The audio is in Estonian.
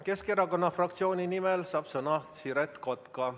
Keskerakonna fraktsiooni nimel saab sõna Siret Kotka.